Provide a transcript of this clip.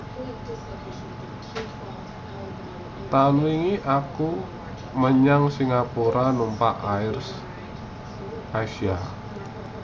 Taun wingi aku menyang Singapura numpak Air Asia